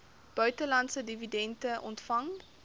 buitelandse dividende ontvang